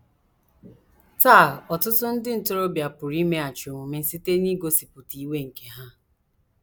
Taa, ọtụtụ ndị ntorobịa pụrụ imeghachi omume site n’igosipụta iwe nke ha.